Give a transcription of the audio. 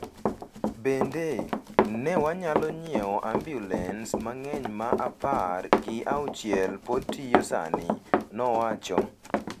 Bende, ne wanyalo nyiewo ambulens mang’eny ma apar gi auchiel pod tiyo sani,” nowacho.